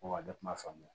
Ko wa ne tun b'a faamuya